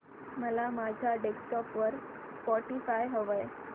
मला माझ्या डेस्कटॉप वर स्पॉटीफाय हवंय